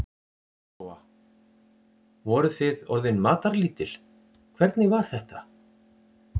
Lóa: Voruð þið orðin matarlítil, hvernig var þetta?